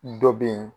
Dɔ bɛ yen